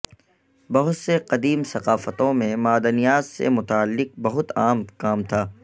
بہت سے قدیم ثقافتوں میں معدنیات سے متعلق بہت عام کام تھا